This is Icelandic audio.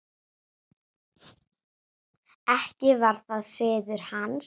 Ekki var það siður hans.